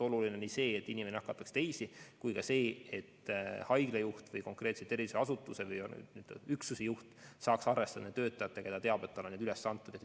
Oluline on nii see, et inimene ei nakataks teisi, kui ka see, et haigla juht või konkreetse terviseasutuse üksuse juht saaks arvestada kõigi oma töötajatega ja ta teab, et tal et ei teki mingit kollet.